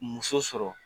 Muso sɔrɔ